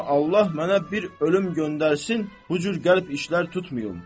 Amma Allah mənə bir ölüm göndərsin, bu cür qəlb işlər tutmayım.